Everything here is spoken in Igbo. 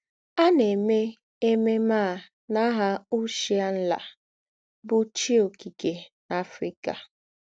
À na - èmè èmèmè à n’áhà Òòshà Ńlá, bụ́ chī ọ́kìké n’Africa.